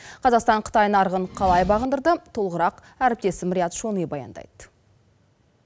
қазақстан қытай нарығын қалай бағындырды толығырақ әріптесім риат шони баяндайды